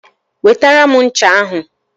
Wetara m ncha ahụ